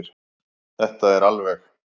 Þetta er alveg.